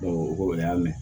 o ko o y'a minɛ